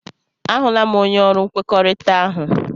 A hụla m, onye ọrụ nkwekọrịta ahụ.